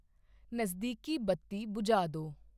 ਨਜ਼ਦੀਕੀ ਬੱਤੀ ਬੁਝਾ ਦੋ